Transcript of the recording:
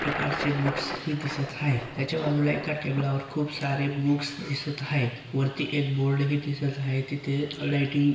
प्रकारचे बुक्स हि दिसत हाय त्याच्या बाजूला एका टेबलावर खूप सारे बुक्स दिसत आहे वरती हि बोर्ड हि दिसत हाय तिथे लाइटिंग --